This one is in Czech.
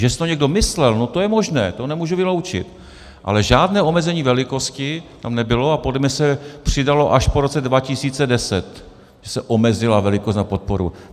Že si to někdo myslel, no to je možné, to nemůžu vyloučit, ale žádné omezení velikosti tam nebylo a podle mě se přidalo až po roce 2010, kdy se omezila velikost na podporu.